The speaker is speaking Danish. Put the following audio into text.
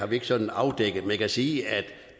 vi ikke sådan afdækket men jeg kan sige at